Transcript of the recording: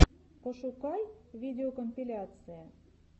пошукай видеокомпиляции